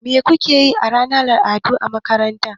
Me kuke yi a ranar al'adu a makaranta?